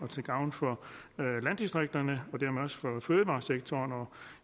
til gavn for landdistrikterne og dermed også for fødevaresektoren og